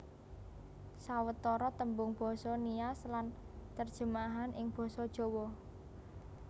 Sawetara tembung basa Nias lan terjemahan ing Basa Jawa